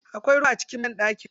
Akwai ruwa a cikin banɗaki?